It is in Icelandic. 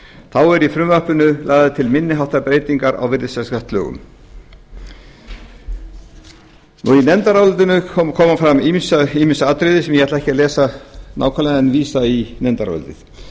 þá eru í frumvarpinu lagðar til minni háttar breytingar á virðisaukaskattslögum í nefndarálitinu koma fram ýmis atriði sem ég ætla ekki að lesa nákvæmlega en vísa í nefndarálitið